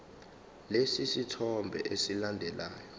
lesi sithombe esilandelayo